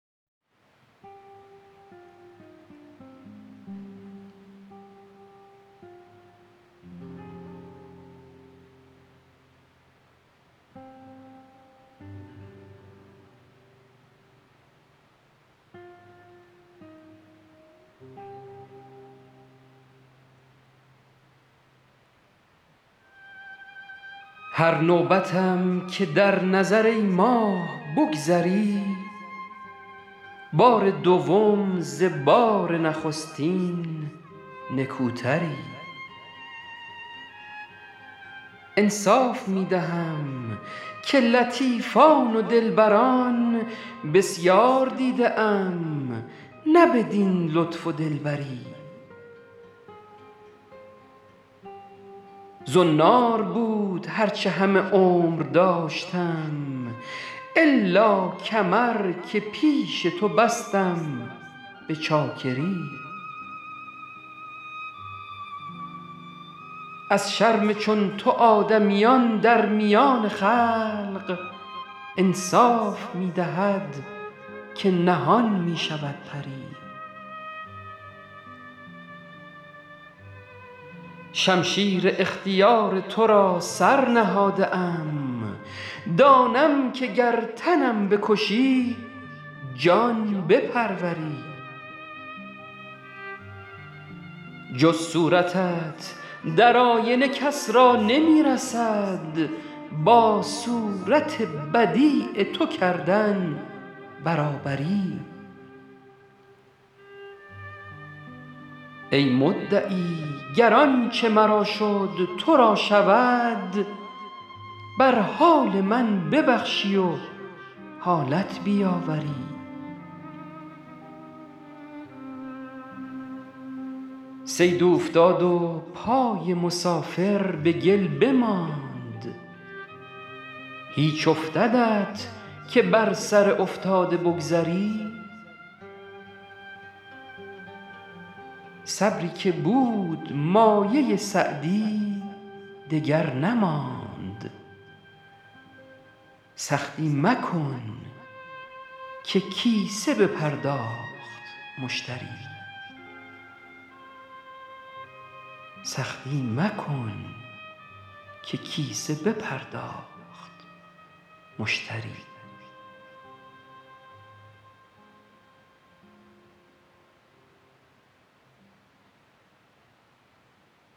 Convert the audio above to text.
هر نوبتم که در نظر ای ماه بگذری بار دوم ز بار نخستین نکوتری انصاف می دهم که لطیفان و دلبران بسیار دیده ام نه بدین لطف و دلبری زنار بود هر چه همه عمر داشتم الا کمر که پیش تو بستم به چاکری از شرم چون تو آدمیان در میان خلق انصاف می دهد که نهان می شود پری شمشیر اختیار تو را سر نهاده ام دانم که گر تنم بکشی جان بپروری جز صورتت در آینه کس را نمی رسد با صورت بدیع تو کردن برابری ای مدعی گر آنچه مرا شد تو را شود بر حال من ببخشی و حالت بیاوری صید اوفتاد و پای مسافر به گل بماند هیچ افتدت که بر سر افتاده بگذری صبری که بود مایه سعدی دگر نماند سختی مکن که کیسه بپرداخت مشتری